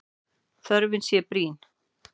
Þörfin sé brýn.